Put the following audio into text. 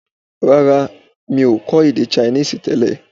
Rárá, mi ò kọ́ èdè Chinese tẹ́lẹ̀